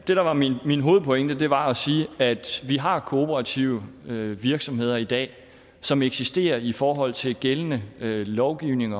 var min min hovedpointe var at sige at vi har kooperative virksomheder i dag som eksisterer i forhold til gældende lovgivning